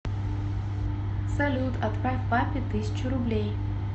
салют отправь папе тысячу рублей